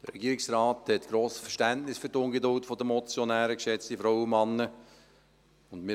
Der Regierungsrat hat grosses Verständnis für die Ungeduld der Motionäre, geschätzte Frauen und Männer.